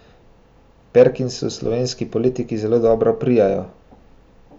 No, Perkinsu slovenski politiki zelo dobro parirajo.